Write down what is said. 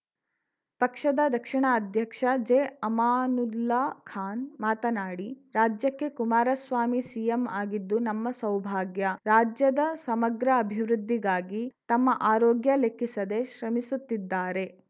ಪಕ್ಷದ ದಕ್ಷಿಣ ಅಧ್ಯಕ್ಷ ಜೆಅಮಾನುಲ್ಲಾ ಖಾನ್‌ ಮಾತನಾಡಿ ರಾಜ್ಯಕ್ಕೆ ಕುಮಾರಸ್ವಾಮಿ ಸಿಎಂ ಆಗಿದ್ದು ನಮ್ಮ ಸೌಭಾಗ್ಯ ರಾಜ್ಯದ ಸಮಗ್ರ ಅಭಿವೃದ್ಧಿಗಾಗಿ ತಮ್ಮ ಆರೋಗ್ಯ ಲೆಕ್ಕಿಸದೇ ಶ್ರಮಿಸುತ್ತಿದ್ದಾರೆ